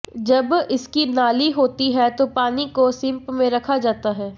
जब इसकी नाली होती है तो पानी को सिंप में रखा जाता है